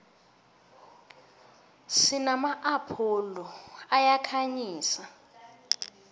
sinama apholo ayakhanyisa